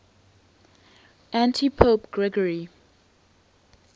antipope gregory